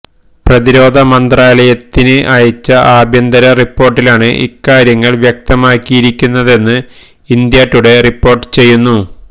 പ്രതിരോധ മന്ത്രാലയത്തിന് അയച്ച ആഭ്യന്തര റിപ്പോർട്ടിലാണ് ഇക്കാര്യങ്ങൾ വ്യക്തമാക്കിയിരിക്കുന്നതെന്ന് ഇന്ത്യാ ടുഡേ റിപ്പോർട്ട് ചെയ്യുന്നു